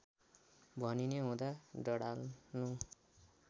भनिने हुँदा डडाल्नु